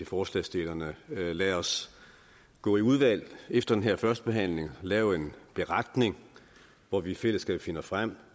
forslagsstillerne følgende lad os gå i udvalg efter den her første behandling og lave en beretning hvor vi i fællesskab finder frem